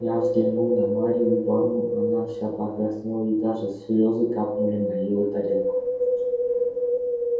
я взглянул на марью ивановну она вся покраснела и даже слёзы капнули на её тарелку